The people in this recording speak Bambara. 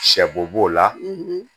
Sɛbo b'o la